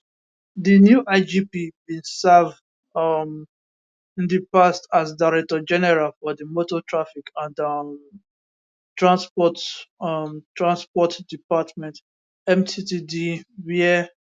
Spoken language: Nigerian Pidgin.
di new igp bin serve um in di past as director general for di motor traffic and um transport um transport department mttd wia